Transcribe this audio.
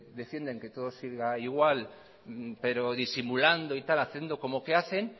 defienden que todo siga igual pero disimulando y tal haciendo como que hacen